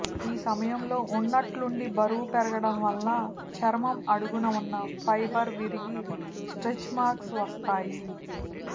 ఈ సమయంలో ఉన్నట్టుండి బరువు పెరగడం వల్ల చర్మం అడుగున ఉన్న ఫైబర్ విరిగి స్ట్రెచ్మార్క్స్ వస్తాయి